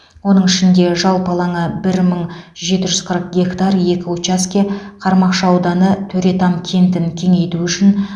оның ішінде жалпы алаңы бір мың жеті жүз қырық гектар екі учаске қармақшы ауданы төретам кентін кеңейту үшін